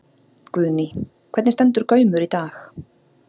Guðný: Hvernig stendur Gaumur í dag?